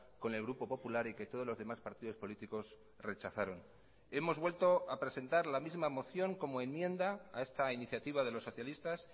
con el grupo popular y que todos los demás partidos políticos rechazaron hemos vuelto a presentar la misma moción como enmienda a esta iniciativa de los socialistas